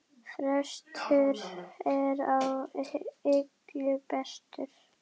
Frestur er á illu bestur!